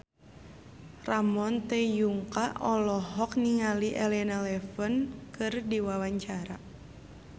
Ramon T. Yungka olohok ningali Elena Levon keur diwawancara